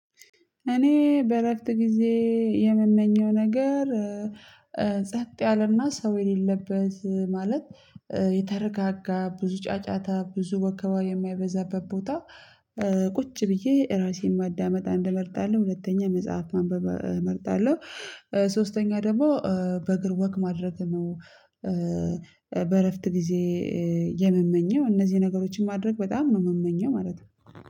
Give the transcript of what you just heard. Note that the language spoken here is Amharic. እኔ በእረፍት ጊዜ የምመኘው ነገር ጸጥ ያለና ሰው የሌለበት ማለት የተረጋጋ ብዙ ጫጫታ ብዙ ወከባ የማይበዛበት ቦታ ቁጭ ብዬ ራሴን ማዳመጥ አንድ እንመርጣለን ሁለተኛ መጽሐፍ ማንበብ እመርጣለሁ ሶስተኛ ደግሞ በእግር ወክ ማድረግ ነው በእረፍት ጊዜ የምመኘው እነዚህ ነገሮችን ማድረግ በጣም ነው የምመኘው ማለት ነው።